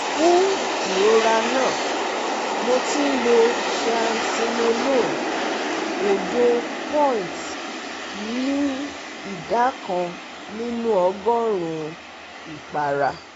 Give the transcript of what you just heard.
Fún ìrora náà mo ti ń lo triamcinolone òdo-point ní ìdá kan nínú ọgọ́rùn-ún ìpara